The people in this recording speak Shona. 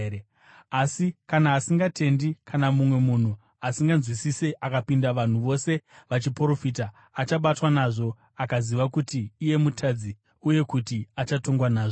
Asi kana asingatendi kana mumwe munhu asinganzwisisi akapinda vanhu vose vachiprofita, achabatwa nazvo akaziva kuti iye mutadzi uye kuti achatongwa nazvo,